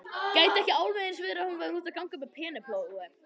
Gæti ekki alveg eins verið að hún væri úti að ganga með Penélope?